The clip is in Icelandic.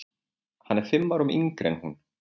Hann er fimm árum yngri en hún.